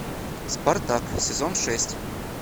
спартак сезон шесть